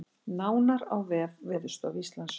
Nánar á vef Veðurstofu Íslands